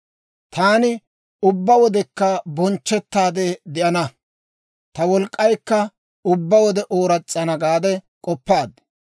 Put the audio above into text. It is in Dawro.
Taani ubbaa wodekka bonchchettaade de'ana; ta wolk'k'aykka ubbaa wode ooras's'ana› gaade k'oppaad.